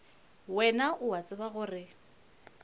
wena o a tseba gore